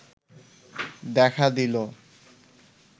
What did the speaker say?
দেখা দিল